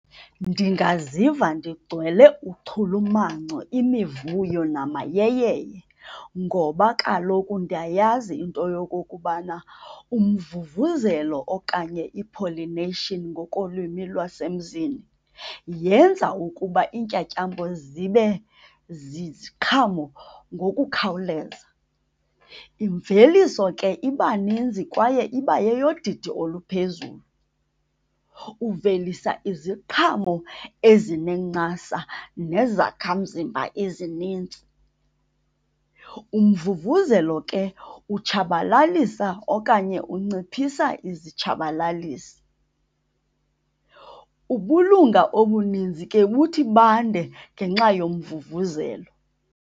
Ndingaziva ndigcwele uchulumanco, imivuyo namayeyeye ngoba kaloku ndiyayazi into yokokubana umvuvuzelo okanye i-pollination ngokolwimi lwasemzini yenza ukuba iintyantyambo zibe ziziqhamo ngokukhawuleza. Imveliso ke iba ninzi kwaye iba yeyodidi oluphezulu. Uvelisa iziqhamo ezinencasa nezakhamzimba ezinintsi. Umvuvuzelo ke utshabalalisa okanye unciphisa izitshabalalisi. Ubulunga obuninzi ke buthi bande ngenxa yomvuvuzelo.